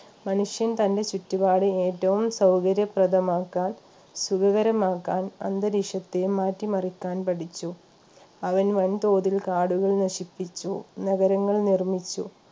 മനുഷ്യൻ തന്റെ ചുറ്റുപാട് ഏറ്റവും സൗകര്യപ്രദമാക്കാൻ സുഖകരമാക്കാൻ അന്തരീക്ഷത്തെ മാറ്റിമറിക്കാൻ പഠിച്ചു അവൻ വൻതോതിൽ കാടുകൾ നശിപ്പിച്ചു നഗരങ്ങൾ നിർമ്മിച്ചു